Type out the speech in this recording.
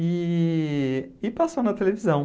E e passou na televisão.